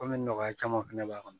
Komi nɔgɔya caman fɛnɛ b'a kɔnɔ